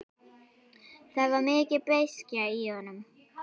Það var mikil beiskja í honum.